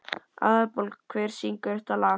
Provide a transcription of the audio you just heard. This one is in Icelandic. Aðalborg, hver syngur þetta lag?